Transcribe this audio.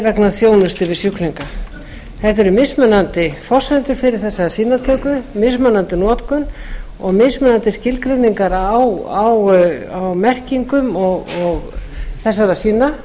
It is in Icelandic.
vegna þjónustu við sjúklinga það eru mismunandi forsendur fyrir þessari sýnatöku mismunandi notkun og mismunandi skilgreiningar á merkingum þessara